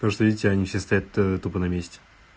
потому что видите они все стоят тупо на месте